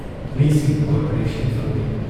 ꯃꯤꯁꯤꯡꯒꯤ ꯀꯣꯔꯄꯔꯦꯁꯟ ꯐꯪꯗꯦ ꯫